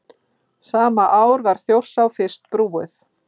Sama ár var Þjórsá fyrst brúuð.